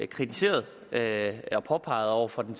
kritiseret eller påpeget over for den